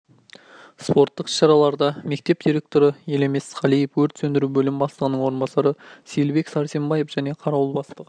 спорттық іс-шараларда мектеп директоры елемес қалиев өрт сөндіру бөілім бастығының орынбасары сейілбек сәрсенбаев және қарауыл бастығы